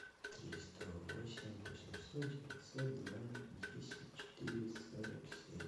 триста восемь восемьсот девятьсот два десять четыре сорок семь